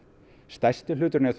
stærsti hluturinn er